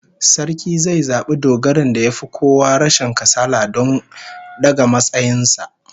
Sarki zai zabi dogarin da yafi kowa rashin kasala don daga matsayin sa